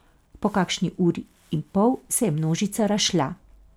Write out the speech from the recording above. Po kakšni uri in pol se je množica razšla.